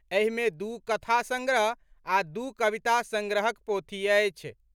एहि मे दू कथा संग्रह आ दू कविता संग्रहक पोथी अछि।